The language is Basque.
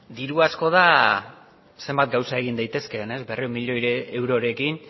diru asko da zenbat gauza egin daitezkeen berrehun milioirekin